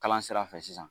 Kalan sira fɛ sisan